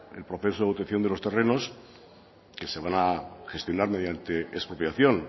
el proceso de obtención de los terrenos que se van a gestionar mediante expropiación